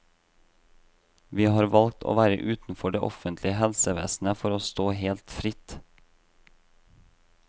Vi har valgt å være utenfor det offentlig helsevesenet for å stå helt fritt.